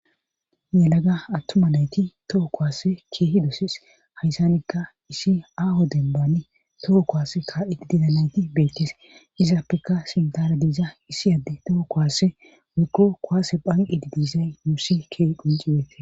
Yelaga atuma nati toohokuwase issi aho dembani ka'idi diyo betiyona izape sinthara